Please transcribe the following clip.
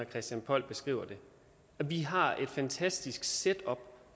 christian poll beskriver det vi har et fantastisk setup